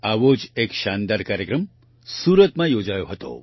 આવો જ એક શાનદાર કાર્યક્રમ સુરતમાં યોજાયો હતો